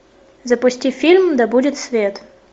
запусти фильм да будет свет